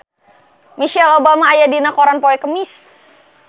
Michelle Obama aya dina koran poe Kemis